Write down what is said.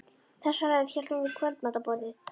Þessa ræðu hélt hún við kvöldmatarborðið